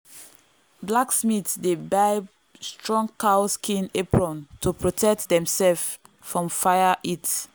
blacksmith dey buy strong cow skin apron to protect demself from fire heat.